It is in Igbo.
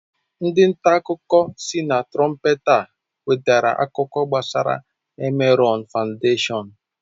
Ndị nta akụkọ sị na Trọmpeta nwetere akụkọ gbasara Emerọn Fandeshọn.